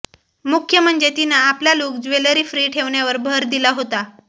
मुख्य म्हणजे तिनं आपला लुक ज्वेलरी फ्री ठेवण्यावर भर दिला होता